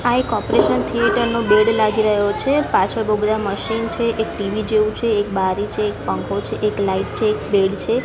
આ એક operational theatre નો બેડ લાગી રહ્યો છે પાછળ બો બધા મશીન છે એક ટી_વી જેવું છે એક બારી છે એક પંખો છે એક લાઇટ છે એક બેડ છે.